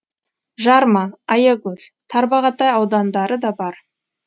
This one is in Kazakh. жарма аягөз тарбағатай аудандары да бар